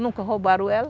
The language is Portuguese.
Nunca roubaram ela.